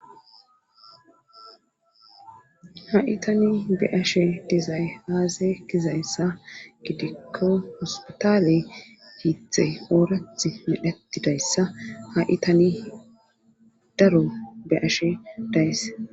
ha'i tani be'ashe dizay aaze gizayssa gidikko hospitaale hiithe oorath medhetidayssa ha'i tani daro be'ashe dayys